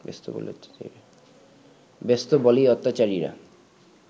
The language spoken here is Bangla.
ব্যস্ত বলেই অত্যাচারীরা